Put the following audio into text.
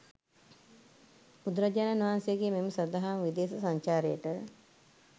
බුදුරජාණන් වහන්සේගේ මෙම සදහම් විදේශ සංචාරයට